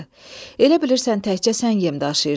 Elə bilirsən təkcə sən yem daşıyırsan?